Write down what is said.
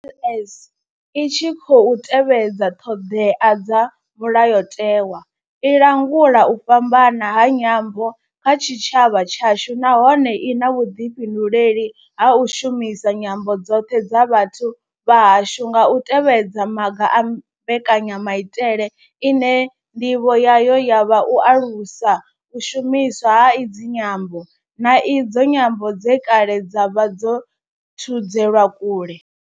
LS I tshi khou tevhedza ṱhodea dza Mulayotewa, i langula u fhambana ha nyambo kha tshitshavha tshashu nahone I na vhuḓifhinduleli ha u shumisa nyambo dzoṱhe dza vhathu vha hashu nga u tevhedza maga a mbekanyamaitele ine nḓivho yayo ya vha u alusa u shumiswa ha idzi nyambo, na idzo nyambo dze kale dza vha dzo thudzelwa kule.